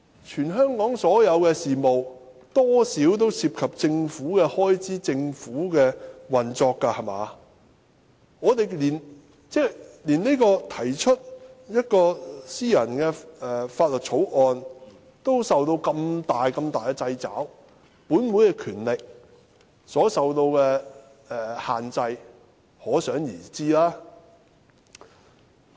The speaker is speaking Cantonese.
全香港所有事務多少都涉及政府開支和運作，我們連提出私人法案都受到這麼大的掣肘，本會議員權力所受到的限制，可想而知。